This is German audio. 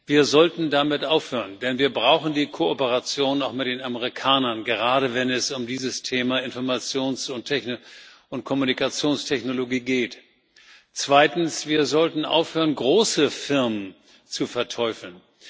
Wir sollten damit aufhören, denn wir brauchen die Kooperation auch mit den Amerikanern, gerade wenn es um dieses Thema Informations und Kommunikationstechnologie geht. Zweitens sollten wir aufhören, große Firmen zu verteufeln.